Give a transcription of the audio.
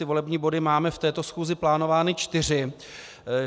Ty volební body máme v této schůzi plánovány čtyři.